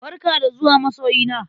Barka da zuwa masoyina!